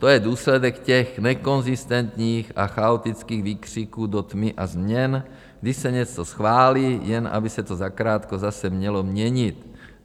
To je důsledek těch nekonzistentních a chaotických výkřiků do tmy a změn, když se něco schválí, jen aby se to zakrátko zase mělo měnit.